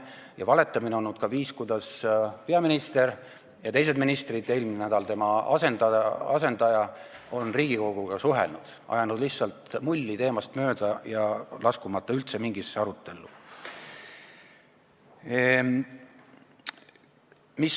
Ja valetamine on ka olnud viis, kuidas peaminister ja teised ministrid, eelmisel nädalal näiteks tema asendaja, on Riigikoguga suhelnud: nad on ajanud lihtsalt mulli, rääkinud teemast mööda, laskumata üldse mingisse arutellu.